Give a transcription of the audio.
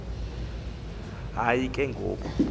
hayi ke ngoku